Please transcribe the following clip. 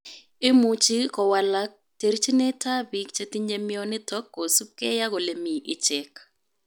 Imuchuu kowalak terchinet ap piik chetinyee mionitok kosuup gei ak olemii icheek